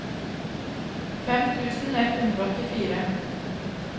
fem tusen ett hundre og åttifire